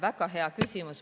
Väga hea küsimus.